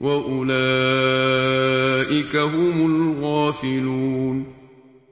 وَأُولَٰئِكَ هُمُ الْغَافِلُونَ